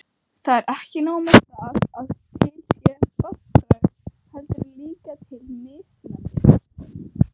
Það er ekki nóg með að til sé vatnsbragð, heldur er líka til mismunandi vatnsbragð!